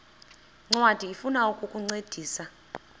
ncwadi ifuna ukukuncedisa